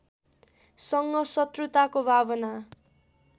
सँग सत्रुताको भावना